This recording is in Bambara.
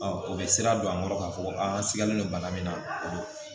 o bɛ sira don an kɔrɔ k'a fɔ ko a sigalen don bana min na o bɛ